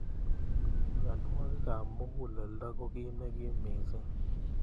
Mnyenwokik ab mukuleldo ko ki nekim missing.